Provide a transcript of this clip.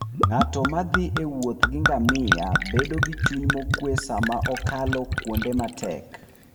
Ng'at ma thi e wuoth gi ngamia bedo gi chuny mokuwe sama okalo kuonde matek.